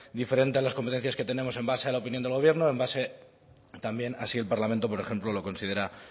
diferente a las competencias que tenemos en base a la opinión del gobierno en base también a si el parlamento por ejemplo lo considera